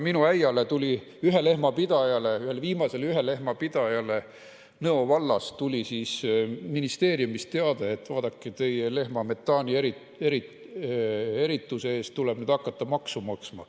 Minu äiale, ühelehmapidajale, ühele viimasele ühelehmapidajale Nõo vallas tuli ministeeriumist teade, et vaadake, teie lehma metaanierituse eest tuleb nüüd hakata maksu maksma.